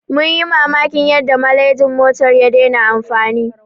Mun yi mamakin yadda malejin motar ya dena amfani